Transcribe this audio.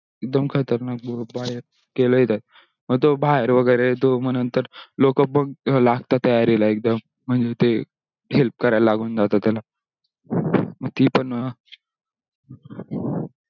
एकदम खतरनाक बोट बयत केला ही त्यात मग तो बाहेर वगेरे तो मग नंतर लोक बघ लागतात तयारी ला एकडूम म्हणजे ते help करायला लागून जातात त्याला